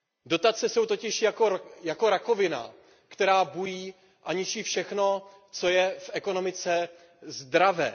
Dotace jsou totiž jako rakovina, která bují a ničí všechno, co je v ekonomice zdravé.